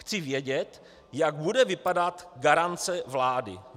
Chci vědět, jak bude vypadat garance vlády.